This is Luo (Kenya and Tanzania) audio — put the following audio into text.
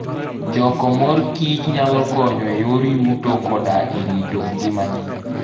Choko mor kich nyalo konyo e yor yuto koda e rito ngima ji.